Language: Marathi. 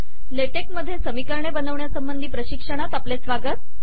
ले टेक मध्ये समीकरणे बनवण्यासंबंधी प्रशिक्षणात आपले स्वागत